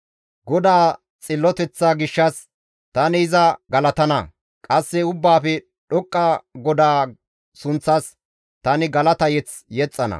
GODAA xilloteththa gishshas tani iza galatana; qasse Ubbaafe Dhoqqa GODAA sunththas tani galata mazamure yexxana.